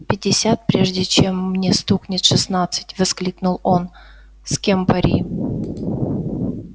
пятьдесят прежде чем мне стукнет шестнадцать воскликнул он с кем пари